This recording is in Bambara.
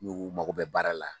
N'u ko mako bɛ baara la